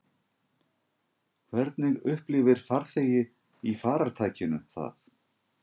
Hvernig upplifir farþegi í farartækinu það?